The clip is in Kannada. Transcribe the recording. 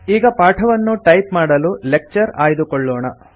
ಈಗ ಪಾಠವನ್ನು ಟೈಪ್ ಮಾಡಲು ಲೆಕ್ಚರ್ ಆಯ್ದುಕೊಳ್ಳೋಣ